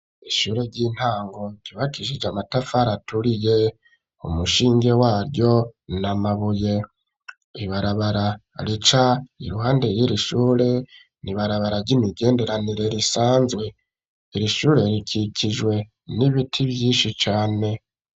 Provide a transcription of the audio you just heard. Ishure ry'intango ryubakishije amatafari aturiye, umushinge waryo ni amabuye. Ibarabara rica iruhande y'iri shure ni ibarabara ry'imigenderanire risanzwe. Iri shure rikikijwe n'ibiti vyinshi cane.